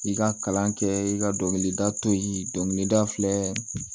I ka kalan kɛ i ka dɔnkilidatɔ ye dɔnkilida filɛ